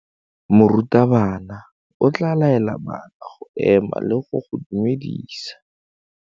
Morutabana o tla laela bana go ema le go go dumedisa.